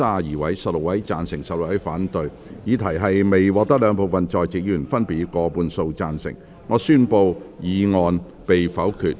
由於議題未獲得兩部分在席議員分別以過半數贊成，他於是宣布修正案被否決。